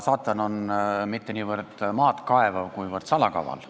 Saatan ei ole mitte niivõrd maad kaevav, kuivõrd salakaval.